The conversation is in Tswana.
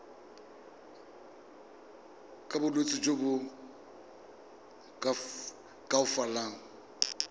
ka bolwetsi jo bo koafatsang